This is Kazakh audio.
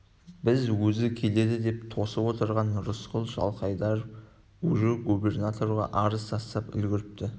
біз өзі келеді деп тосып отырған рысқұл жылқайдаров уже губернаторға арыз айтып та үлгіріпті